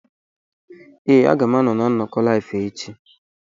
Ee, a ga m anọ na nnọkọ Live echi.